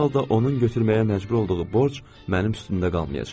hər halda onun götürməyə məcbur olduğu borc mənim üstümdə qalmayacaq.